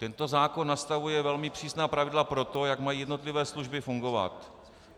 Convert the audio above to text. Tento zákon nastavuje velmi přísná pravidla pro to, jak mají jednotlivé služby fungovat.